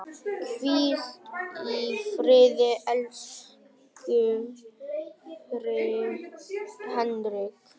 Hvíl í friði, elsku Henrik.